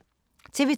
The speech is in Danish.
TV 2